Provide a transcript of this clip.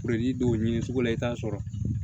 don o ɲini sugu la i t'a sɔrɔ